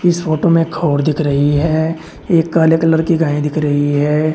इस फोटो में खोर दिख रही है एक काले कलर की गाय दिख रही है।